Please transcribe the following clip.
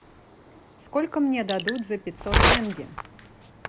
сколько мне дадут за пятьсот тенге